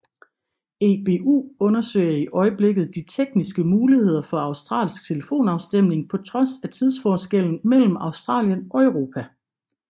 EBU undersøger i øjeblikket de tekniske muligheder for australsk telefonafstemning på trods af tidsforskellen mellem Australien og Europa